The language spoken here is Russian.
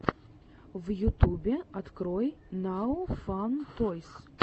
в ютубе открой нао фан тойс